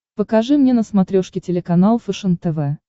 покажи мне на смотрешке телеканал фэшен тв